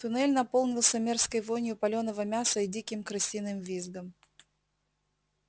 туннель наполнился мерзкой вонью палёного мяса и диким крысиным визгом